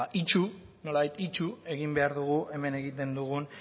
itsu nolabait itsu egin behar dugu hemen egiten dugun